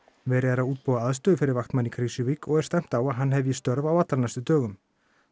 verið er að útbúa aðstöðu fyrir vaktmann í Krýsuvík og er stefnt á að hann hefji störf á allra næstu dögum